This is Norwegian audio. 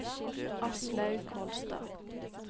Aslaug Kolstad